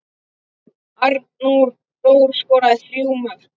Arnór Þór skoraði þrjú mörk.